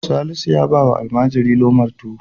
Salisu ya ba wa almajiri lomar tuwo.